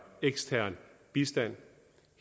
ekstern bistand